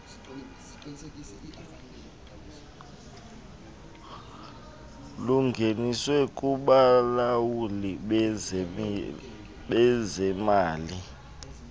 lungeniswe kubalawuli bezemali